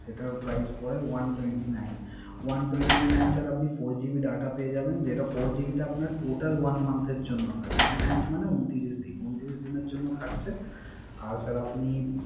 সেটার Prize পরে One twenty nine । One twenty nine এর স্যার আপনি Four GB data পেয়ে যাবেন। যেটা Four GB টা আপনার Total one month এর জন্য থাকবে। one month মানে ঊনত্রিশ দিন